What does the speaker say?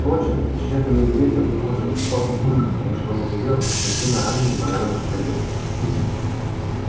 впрочем пещерным медведем похоже выступал папулька потому что он ревел как смертельно раненый бананом крокодил